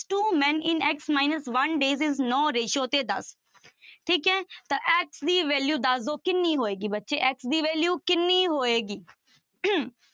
Two men in x minus one days is ਨੋਂ ratio ਤੇ ਦਸ ਠੀਕ ਹੈ ਤਾਂ x ਦੀ value ਦੱਸ ਦਓ ਕਿੰਨੀ ਹੋਏਗੀ ਬੱਚੇੇ x ਦੀ value ਕਿੰਨੀ ਹੋਏਗੀ